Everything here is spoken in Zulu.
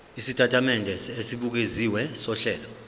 isitatimende esibukeziwe sohlelo